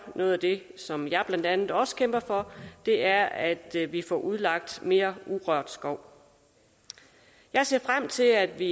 noget af det som jeg blandt andet også kæmper for er at vi får udlagt mere urørt skov jeg ser frem til at vi